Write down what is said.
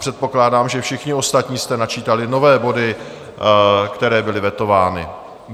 Předpokládám, že všichni ostatní jste načítali nové body, které byly vetovány.